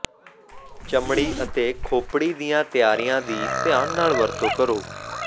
ਚਮੜੀ ਅਤੇ ਖੋਪੜੀ ਦੀਆਂ ਤਿਆਰੀਆਂ ਦੀ ਧਿਆਨ ਨਾਲ ਵਰਤੋਂ ਕਰੋ